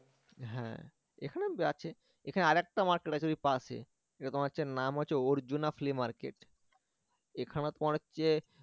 হ্যাঁ এখানে আছে এখানে আরেকটা মার্কেট আছে ওই পাশে যেটা তোমার হচ্ছে নাম হচ্ছে মার্কেট এখানে তোমার হচ্ছে